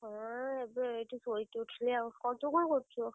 ହଁ ଏବେ ଏଇଠି ଶୋଇକି ଉଠିଲି ଆଉ କଣ ତୁ କଣ କରୁଛୁ?